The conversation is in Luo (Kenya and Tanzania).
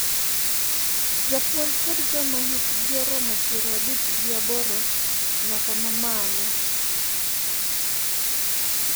jopuonj kod joma hikgi oromo piero abich gi aboro nyaka ma malo.